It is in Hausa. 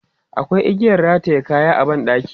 Akwai igiyan rataye kaya a ban ɗaki.